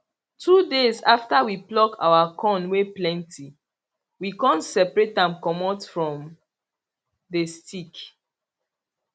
two days after we pluck our corn wey plenty we con separate am comot from the stick